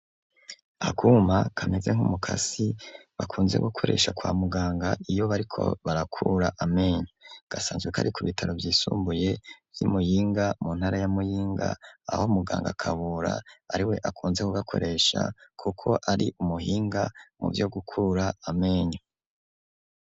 Akuma, kameze nk'umukasi, bakunze gukoresha, kwa muganga, iyo bariko barakura, amenyo; gasanzwe kari, ku bitaro vyisumbuye, vy'i Muyinga, mu ntara ya muyinga, aho muganga Kabura, ari we, akunze kugakoresha, kuko ari umuhinga, mu vyo gukura amenyo.